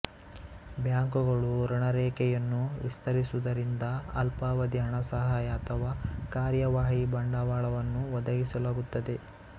ಬ್ಯಾಂಕುಗಳು ಋಣರೇಖೆಯನ್ನು ವಿಸ್ತರಿಸುವುದರಿಂದ ಅಲ್ಪಾವಧಿ ಹಣಸಹಾಯ ಅಥವಾ ಕಾರ್ಯವಾಹಿ ಬಂಡವಾಳವನ್ನು ಒದಗಿಸಲಾಗುತ್ತದೆ